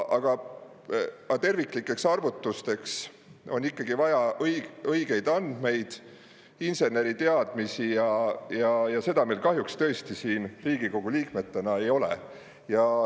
Aga terviklikeks arvutusteks on ikkagi vaja õigeid andmeid, inseneriteadmisi ja seda meil kahjuks tõesti siin Riigikogu liikmetena ei ole.